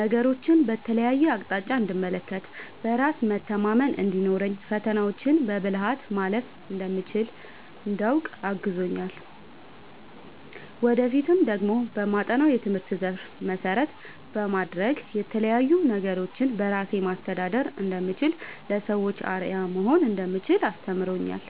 ነገሮችን በተለያየ አቅጣጫ እንድመለከት፣ በራስ መተማመን እንዲኖረኝ፣ ፈተናዎችን በብልሀት ማለፍ እንደምችል እንዳውቅ አግዞኛል። ወደፊት ደግሞ በማጠናው የትምህርት ዘርፍ መሰረት በማድረግ የተለያዪ ነገሮችን በራሴ ማስተዳደር እንደምችል፣ ለሰዎች አርአያ መሆን እንደምችል አስተምሮኛል።